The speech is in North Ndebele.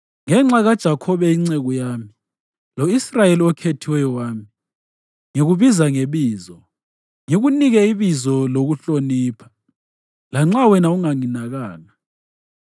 Ngenxa kaJakhobe inceku yami, lo-Israyeli okhethiweyo wami, ngikubiza ngebizo ngikunike ibizo lokuhlonipha, lanxa wena unganginakanga.